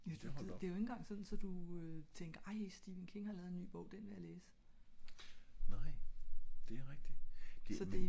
ja du ja det er ikke engang sådan så du tænker ej stephen king har lavet en ny bog og den vil jeg læse